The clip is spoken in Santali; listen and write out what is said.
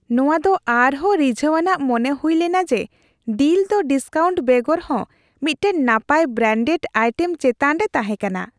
ᱱᱚᱶᱟ ᱫᱚ ᱟᱨᱦᱚᱸ ᱨᱤᱡᱷᱟᱹᱣ ᱟᱱᱟᱜ ᱢᱚᱱᱮ ᱦᱩᱭ ᱞᱮᱱᱟ ᱡᱮ ᱰᱤᱞ ᱫᱚ ᱰᱤᱥᱠᱟᱣᱩᱱᱴ ᱵᱮᱜᱚᱨ ᱦᱚᱸ ᱢᱤᱫᱴᱟᱝ ᱱᱟᱯᱟᱭ, ᱵᱨᱮᱱᱰᱮᱰ ᱟᱭᱴᱮᱢ ᱪᱮᱛᱟᱱ ᱨᱮ ᱛᱟᱦᱮᱸ ᱠᱟᱱᱟ ᱾